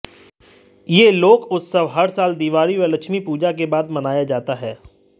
यह लोक उत्सव हर साल दिवाली और लक्ष्मी पूजा के बाद मनाया जाता है